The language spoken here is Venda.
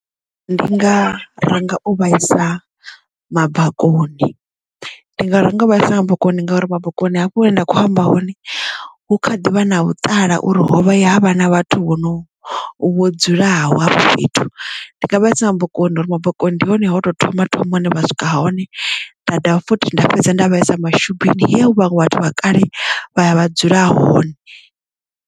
Ndi nga ranga u vhaisa mabakoni ndi nga ranga uvha isa mabakoni ngauri bakoni hafho hune nda kho amba hone hu kha ḓivha na vhuṱala uri hovha ya havha na vhathu vho no vho dzulaho hafho fhethu ndi nga vha isina mabakoni uri mabakoni ndi hone ho tou thoma thoma hune vha swika hone nda dovha futhi nda fhedza nda vha isa mashubini ya u vhaṅwe vhathu vha kale vha ya vha dzula hone.